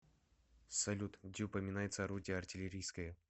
салют где упоминается орудие артиллерийское